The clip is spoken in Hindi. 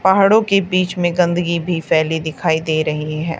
पहाड़ों के बीच में गंदगी भी फैली दिखाई दे रही है।